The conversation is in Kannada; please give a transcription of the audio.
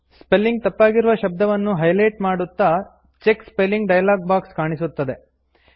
ಸ್ಪೆಲ್ಲಿಂಗ್ ತಪ್ಪಾಗಿರುವ ಶಬ್ದವನ್ನು ಹೈಲೇಟ್ ಮಾಡುತ್ತಾ ಚೆಕ್ ಸ್ಪೆಲ್ಲಿಂಗ್ ಡಯಾಲಾಗ್ ಬಾಕ್ಸ್ ಕಾಣಿಸುತ್ತದೆ